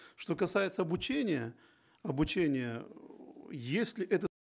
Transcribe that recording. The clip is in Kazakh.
что касается обучения обучения эээ если это